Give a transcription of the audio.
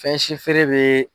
Fɛn si feere bɛ